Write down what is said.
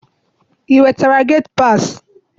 I nwetara geti paasị?